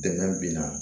Dɛmɛ binna